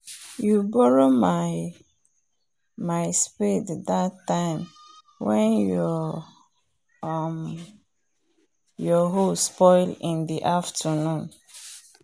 you borrow my my spade that time wen your um hoe spoil in the afternoon